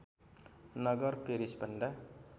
नगर पेरिसभन्दा